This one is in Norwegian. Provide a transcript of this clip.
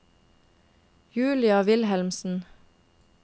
Julia Wilhelmsen